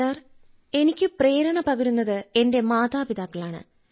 sir എനിക്ക് പ്രേരണ പകരുന്നത് എന്റെ മാതാപിതാക്കളാണ്